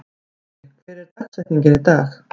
Olli, hver er dagsetningin í dag?